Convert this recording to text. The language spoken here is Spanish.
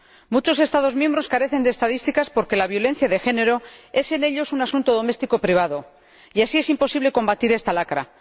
Muchos Estados miembros carecen de estadísticas porque la violencia de género es en ellos un asunto doméstico privado, y así es imposible combatir esta lacra.